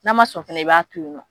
N'a ma sɔn fɛnɛ i b'a to yen nɔ